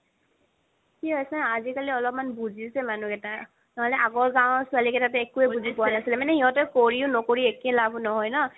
কি হয় ন আজিকালি অকমান বুজিছে মানুহ কেইটাই নহ'লে আগৰ গাওঁৰ ছোৱালি কেইটা টো বুজা পুৱা নাছিলে মানে সিহতে কৰিও নকৰিও একেই লাভ নহয় ন